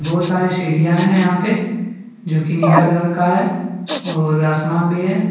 बहुत सारी सीढ़ियां हैं यहां पे जोकि नीला कलर का है और आसमान भी है।